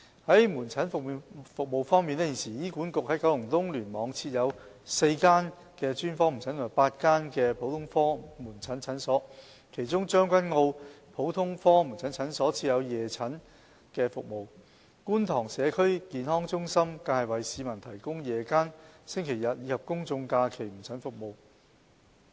在門診服務方面，現時醫管局在九龍東聯網設有4間專科門診和8間普通科門診診所，其中將軍澳的普通科門診診所設有夜診服務，觀塘社區健康中心更為市民提供夜間、星期日及公眾假期門診服務。